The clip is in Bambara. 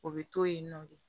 O bɛ to yen nɔ de